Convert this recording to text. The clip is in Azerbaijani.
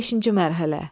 Beşinci mərhələ.